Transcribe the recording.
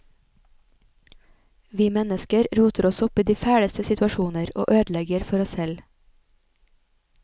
Vi mennesker roter oss opp i de fæleste situasjoner og ødelegger for oss selv.